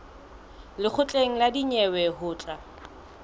lekgotleng la dinyewe ho tla